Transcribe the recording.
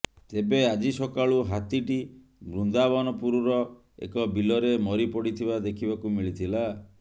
ତେବେ ଆଜି ସକାଳୁ ହାତୀଟି ବୃନ୍ଦାବନପୁରର ଏକ ବିଲରେ ମରିପଡ଼ିଥିବା ଦେଖିବାକୁ ମିଳିଥିଲା